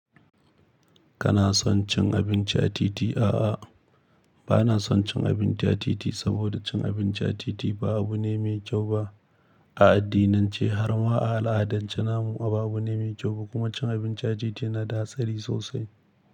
Kana son cin abinci a titi? A'a, ba na son cin abinci a titi saboda cin abinci a titi ba abu ne mai kyau ba. A addinance harma a al'adance namu, ba abu ne mai kyau ba kuma cin abinci a titi na da hatsari sosai.